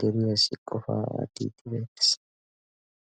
deriyaasi qofaa attiitti beettees